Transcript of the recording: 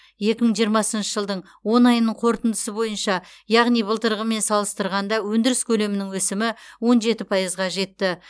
екі мың жиырмасыншы жылдың он айының қорытындысы бойынша яғни былтырғымен салыстырғанда өндіріс көлемінің өсімі он жеті пайызға жетті